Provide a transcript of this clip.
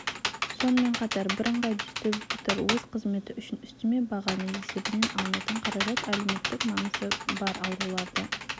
сонымен қатар бірыңғай дистрибьютер өз қызметі үшін үстеме бағаның есебінен алынатын қаражат әлеуметтік маңызы бар ауруларды